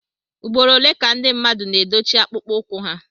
ugboro ole ka ndị mmadụ na edochie akpụkpọ ụkwụ ha